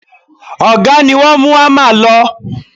Ọ̀gá ni wọ́n mú ámà lọ